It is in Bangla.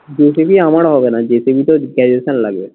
জি টিভি আমারো হবে না জেসিবিতে graduation লাগবে